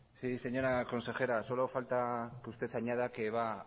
sí señora consejera solo falta que usted añada que va